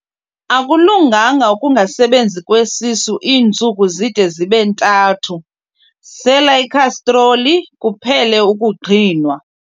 Akulunganga ukungasebenzi kwesisu iintsuku zide zibe ntathu, sela ikhastroli kuphele ukuqhinwa.